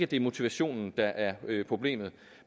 det er motivationen der er problemet